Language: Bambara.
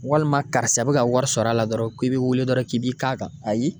Walima karisa bɛ ka wari sɔrɔ a la dɔrɔn k'i bi wele dɔrɔn k'i b'i k'a kan ayi.